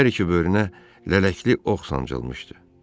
Hər iki böyrünə lələkli ox sancılmışdı.